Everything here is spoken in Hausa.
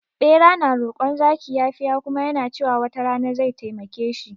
Bera na rokon zaki yafiya kuma yana cewa wata rana zai taimake shi